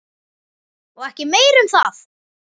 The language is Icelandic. Og ekki meira um það!